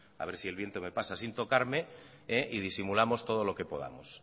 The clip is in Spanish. a ver si el viento me pasa sin tocarme y disimulamos todo lo que podamos